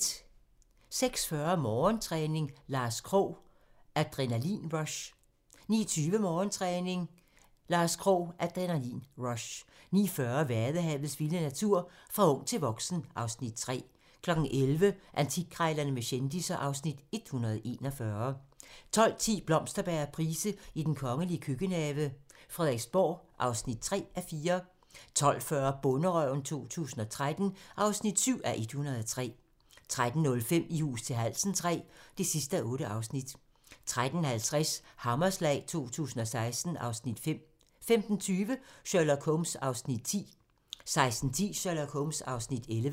06:40: Morgentræning: Lars Krogh - Adrenalin-rush 09:20: Morgentræning: Lars Krogh - Adrenalin-rush 09:40: Vadehavets vilde natur: Fra ung til voksen (Afs. 3) 11:00: Antikkrejlerne med kendisser (Afs. 141) 12:10: Blomsterberg og Price i den kongelige køkkenhave: Frederiksborg (3:4) 12:40: Bonderøven 2013 (7:103) 13:05: I hus til halsen III (8:8) 13:50: Hammerslag 2016 (Afs. 5) 15:20: Sherlock Holmes (10:45) 16:10: Sherlock Holmes (11:45)